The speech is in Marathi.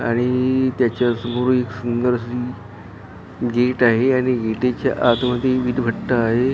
त्याच्या समोर एक सुंगेदर अशी गेट आहे आणि गेटीच्या आत मध्ये विट भटृ आहे .